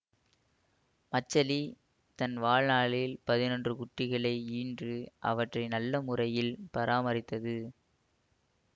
மச்சலி தன் வாழ்நாளில் பதினொன்று குட்டிகளை ஈன்று அவற்றை நல்ல முறையில் பராமரித்தது